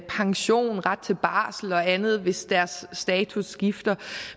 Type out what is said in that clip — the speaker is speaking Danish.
pension ret til barsel og andet hvis deres status skifter